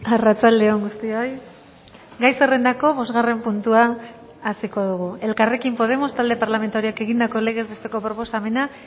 arratsaldeon guztioi gai zerrendako bosgarren puntua hasiko dugu elkarrekin podemos talde parlamentarioak egindako legez besteko proposamena